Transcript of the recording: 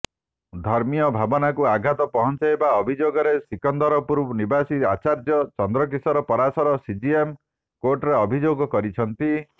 ଧର୍ମୀୟ ଭାବାନକୁ ଆଘାତ ପହଞ୍ଚାଇବା ଅଭିଯୋଗରେ ସିକନ୍ଦରପୁର ନିବାସୀ ଆଚାର୍ଯ୍ୟ ଚନ୍ଦ୍ରକିଶାର ପାରାଶର ସିଜିଏମ୍ କୋର୍ଟରେ ଅଭିଯୋଗ କରିଛନ୍ତି